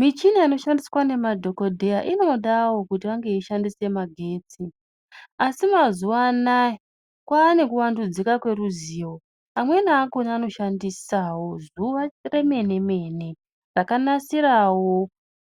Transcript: Michina ino shandiswa ne madhokodheya inodawo kuti vange vei shandisa magetsi asi mazuva anaya kwane ku wandudzika kwe ruzivo amweni akona ano shandisawo zuva remene mene raka nasirawo